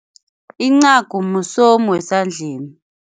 Incagu musomu wesandleni.